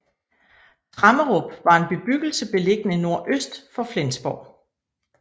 Tremmerup var en bebyggelse beliggende nordøst for Flensborg